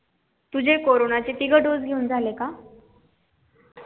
तुझे corona चे तिनी ढोस घेऊन झाले का?